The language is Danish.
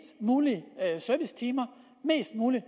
mulige servicetimer mest mulig